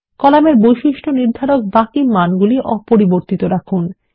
কলামের বৈশিষ্ট্য নির্ধারক বাকি মানগুলি অপরিবর্তিত রাখুন